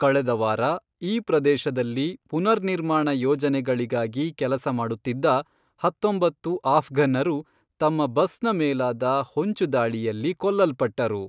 ಕಳೆದ ವಾರ, ಈ ಪ್ರದೇಶದಲ್ಲಿ ಪುನರ್ನಿರ್ಮಾಣ ಯೋಜನೆಗಳಿಗಾಗಿ ಕೆಲಸ ಮಾಡುತ್ತಿದ್ದ ಹತ್ತೊಂಬತ್ತು ಆಫ್ಘನ್ನರು ತಮ್ಮ ಬಸ್ನ ಮೇಲಾದ ಹೊಂಚುದಾಳಿಯಲ್ಲಿ ಕೊಲ್ಲಲ್ಪಟ್ಟರು.